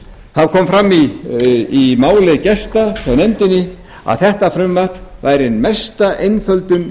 það kom fram í máli gesta hjá nefndinni að þetta frumvarp væri ein mesta einföldun